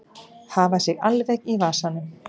Hafa sig alveg í vasanum.